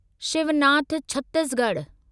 Shivnath Chhattisgarh